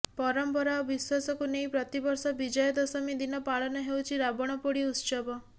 ପରମ୍ପରା ଓ ବିଶ୍ୱାସକୁ ନେଇ ପ୍ରତିବର୍ଷ ବିଜୟା ଦଶମୀ ଦିନ ପାଳନ ହେଉଛି ରାବଣ ପୋଡ଼ି ଉତ୍ସବ